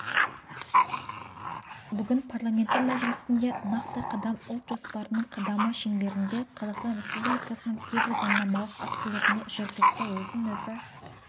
бүгін парламенті мәжілісінде нақты қадам ұлт жоспарының қадамы шеңберінде қазақстан республикасының кейбір заңнамалық актілеріне жергілікті өзін-өзі